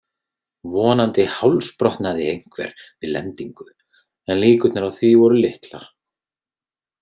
Vonandi hálsbrotnaði einhver við lendingu, en líkurnar á því voru litlar.